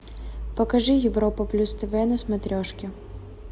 покажи европа плюс тв на смотрешке